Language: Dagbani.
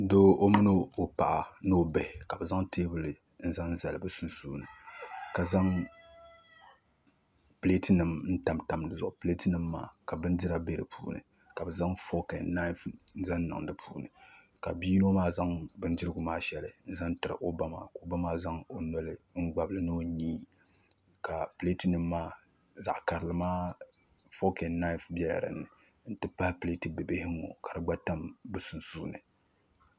Doo o mini o paɣa ni o bihi ka bi zaŋ teebuli n zali bi sunsuuni ka zaŋ pileet nim tamtam dizuɣu pileet nim maa ka bindira bɛ di puuni ka bi zaŋ fook ɛn naaif n zaŋ niŋ di puuni ka bia yino maa zaŋ bindirigu maa shɛli n zaŋ tiri o ba maa ka o ba maa yaagi o noli ni o nyii ka pileet nim maa zaɣ karili maa fook ɛn naaif biɛla dinni n ti pahi pileet bibihi n ŋo ka di gba tam bi sunsuuni